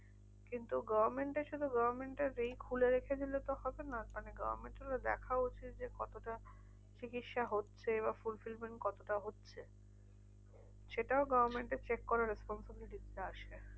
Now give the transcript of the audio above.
কিন্তু government এর শুধু government টা যেই খুলে রেখে দিলে তো হবে না, মানে government এরও দেখা উচিত। যে কতটা চিকিৎসা হচ্ছে? বা fulfilment কতটা হচ্ছে? সেটাও government এর check করার responsibility টা আসে।